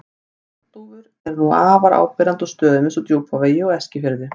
Bjargdúfur eru nú afar áberandi á stöðum eins og Djúpavogi og Eskifirði.